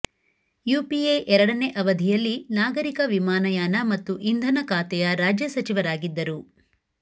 UPA ಎರಡನೇ ಅವಧಿಯಲ್ಲಿ ನಾಗರಿಕ ವಿಮಾನಯಾನ ಮತ್ತು ಇಂಧನ ಖಾತೆಯ ರಾಜ್ಯ ಸಚಿವರಾಗಿದ್ದರು